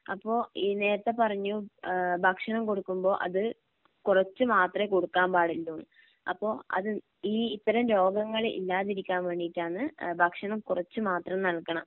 അപ്പോ ഈ നേരത്തെ പറഞ്ഞു ഏഹ് ഭക്ഷണം കൊടുക്കുമ്പോ അത് കുറച്ചു മാത്രമേ കൊടുക്കാൻ പാടുള്ളൂന്ന് അപ്പം അത് ഈ ഇത്തരം രോഗങ്ങള് ഇല്ലാതിരിക്കാൻ വേണ്ടിയിട്ടാന്ന് ഭക്ഷണം കുറച്ചു മാത്രം നൽകണം